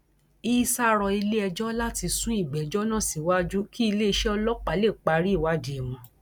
issa rọ iléẹjọ láti sún ìgbẹjọ náà síwájú kí iléeṣẹ ọlọpàá lè parí ìwádìí wọn